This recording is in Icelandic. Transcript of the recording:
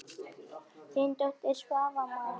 Þín dóttir, Svava María.